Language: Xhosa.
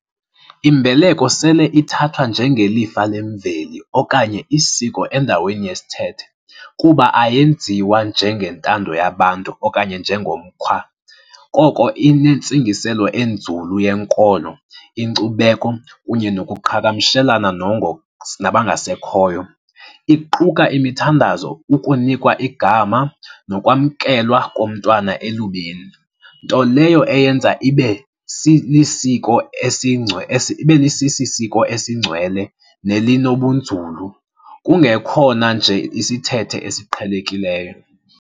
Imbeleko sele ithathwa njengelifa lemveli okanye isiko endaweni yesithethe kuba ayenziwa njengentando yabantu okanye njengomkhwa, koko inentsingiselo enzulu yenkolo, inkcubeko kunye nokuqhagamshelana nabangasekhoyo. Iquka imithandazo, ukunikwa igama nokwamkelwa komntwana elubini, nto leyo eyenza ibe lisiko ibe lisisisiko esingcwele nelinobunzulu, kungekhona nje isithethe esiqhelekileyo.